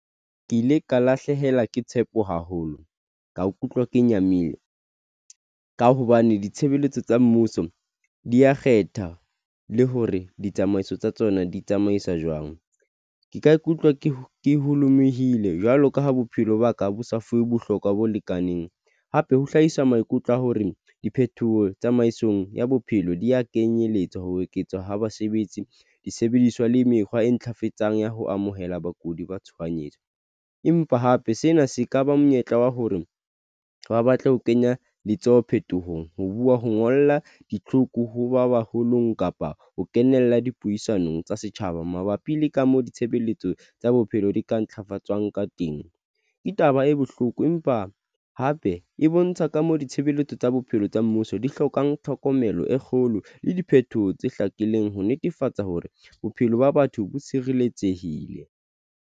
Ke ile ka lahlehelwa ke tshepo haholo, ka ikutlwa, ke nyamile, ka hobane ditshebeletso tsa mmuso di ya kgetha le hore ditsamaiso tsa tsona di tsamaiswa jwang. Ke ka ikutlwa ke holomehile. Jwalo ka ha bophelo ba ka bo sa fuwe bohlokwa bo lekaneng. Hape ho hlahisa maikutlo a hore diphethoho tsamaisong ya bophelo di ya kenyelletswa ho eketswa ha basebetsi, disebediswa, le mekgwa e ntlafatsang ya ho amohela bakudi ba tshohanyetso. Empa hape sena se ka ba monyetla wa hore ba batla ho kenya letsoho phetohong, ho buwa, ho ngolla ditlhoko hoba baholong kapa ho kenella dipuisanong tsa setjhaba mabapi le ka moo ditshebeletso tsa bophelo di ka ntlhafatswang ka teng. Ke taba e bohloko, empa hape e bontsha ka moo ditshebeletso tsa bophelo tsa mmuso di hlokang tlhokomelo e kgolo le diphetoho tse hlakileng ho netefatsa hore bophelo ba batho bo tshireletsehile.